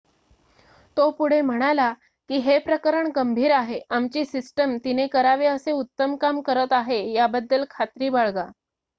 "तो पुढे म्हणाला की "हे प्रकरण गंभीर आहे. आमची सिस्टम तिने करावे असे उत्तम काम करत आहे याबद्दल खात्री बाळगा.""